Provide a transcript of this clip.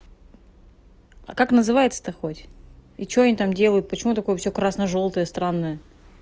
а как называется то хоть и что они там делают почему такую все красно-желтое странное